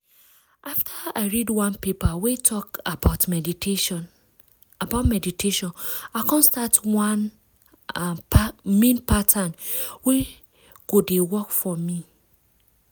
after i read one paper wey talk about meditation about meditation i come start one i mean pattern wey go dey work for me.